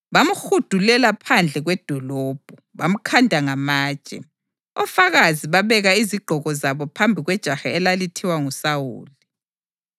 bamhudulela phandle kwedolobho, bamkhanda ngamatshe. Ofakazi babeka izigqoko zabo phambi kwejaha elalithiwa nguSawuli.